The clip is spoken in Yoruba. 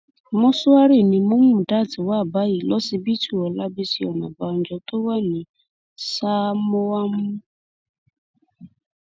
mòṣùárì ni mọmùdát wà báyìí lọsibítù ọlábísì oníbànjọ tó wà ní sámóámú